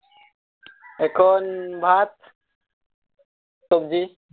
এখন ভাত সবজি